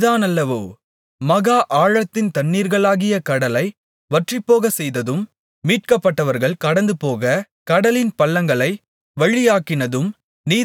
மகா ஆழத்தின் தண்ணீர்களாகிய கடலை வற்றிப்போகச்செய்ததும் மீட்கப்பட்டவர்கள் கடந்துபோகக் கடலின் பள்ளங்களை வழியாக்கினதும் நீதானல்லவோ